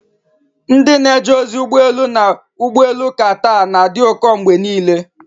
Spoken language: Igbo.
Ndị na-eje ozi ụgbọ elu na ụgbọ elu Qatar na-adị ụkọ mgbe niile.